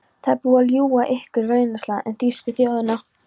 Það er búið að ljúga ykkur rænulausa um þýsku þjóðina.